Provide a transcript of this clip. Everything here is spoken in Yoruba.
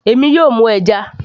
èmi yóò mú ẹja